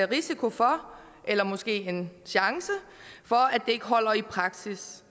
risiko for eller måske en chance for at det ikke holder i praksis